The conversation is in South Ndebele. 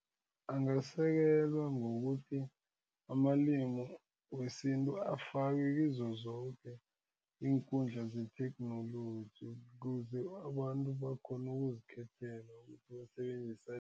Angasekela ngokuthi amalimi wesintu afakwe kizo zoke iinkundla zetheknoloji kuze abantu bakhone ukuzikhethela ukuthi basebenzisa